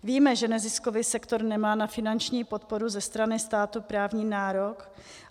Víme, že neziskový sektor nemá na finanční podporu ze strany státu právní nárok.